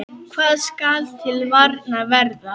Hvað skal til varnar verða?